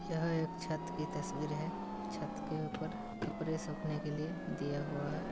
यह एक छत की तस्वीर है छत के ऊपर कपड़े सूखने के लिए दिया हुआ है।